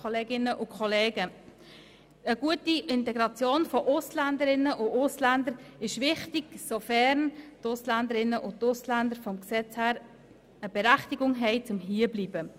Eine gute Integration von Ausländerinnen und Ausländern ist wichtig, sofern sie eine gesetzliche Berechtigung haben, hier zu bleiben.